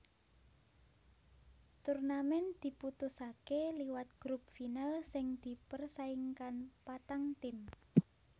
Turnamen diputusaké liwat grup final sing dipersaingkan patang tim